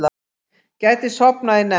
Gæti sofnað í nefnd